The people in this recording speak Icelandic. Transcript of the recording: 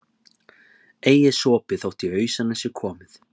Ei er sopið þótt í ausuna sé komið.